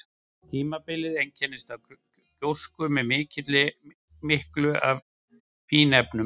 Tímabilið einkenndist af gjósku með miklu af fínefnum.